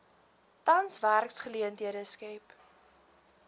tans werksgeleenthede skep